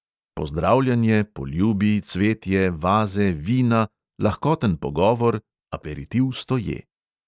Pozdravljanje, poljubi, cvetje, vaze, vina, lahkoten pogovor, aperitiv stoje.